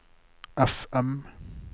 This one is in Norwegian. FM